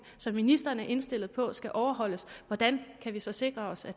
som ministeren er indstillet på skal overholdes hvordan kan vi så sikre os at